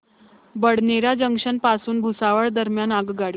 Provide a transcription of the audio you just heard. Badnera junction पासून भुसावळ दरम्यान आगगाडी